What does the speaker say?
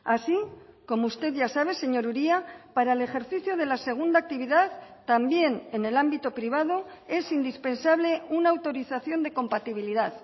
así como usted ya sabe señor uria para el ejercicio de la segunda actividad también en el ámbito privado es indispensable una autorización de compatibilidad